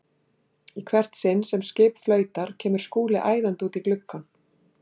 Í hvert sinn sem skip flautar kemur Skúli æðandi út í gluggann.